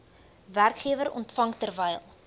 werkgewer ontvang terwyl